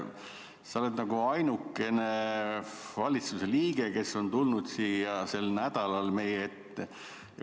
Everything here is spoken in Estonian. Sa oled ainukene valitsuse liige, kes on tulnud sel nädalal siia meie ette.